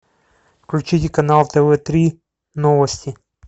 включите канал тв три новости